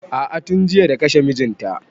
A'a tun jiya da kashe mijin ta